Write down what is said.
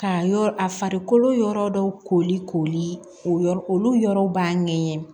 Ka yɔrɔ a farikolo yɔrɔ dɔw koli koli o yɔrɔ olu yɔrɔw b'a ɲɛgɛn